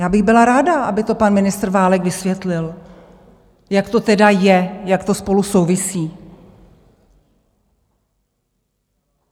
Já bych byla ráda, aby to pan ministr Válek vysvětlil, jak to tedy je, jak to spolu souvisí.